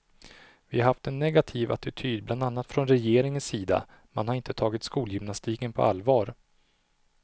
Vi har haft en negativ attityd bland annat från regeringens sida, man har inte tagit skolgymnastiken på allvar.